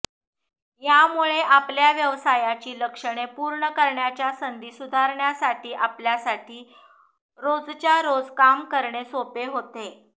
यामुळे आपल्या व्यवसायाची लक्षणे पूर्ण करण्याच्या संधी सुधारण्यासाठी आपल्यासाठी रोजच्यारोज काम करणे सोपे होते